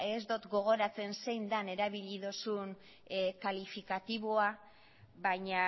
ez dut gogoratzen zein den erabili dozun kalifikatiboa baina